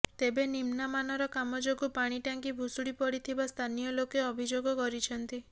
ତେବେ ନିମ୍ନାମାନର କାମ ଯୋଗୁ ପାଣି ଟ୍ୟାଙ୍କି ଭୁଶୁଡ଼ି ପଡ଼ିଥିବା ସ୍ଥାନୀୟ ଲୋକେ ଅଭିଯୋଗ କରିଛନ୍ତି